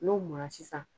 N'o mun na sisan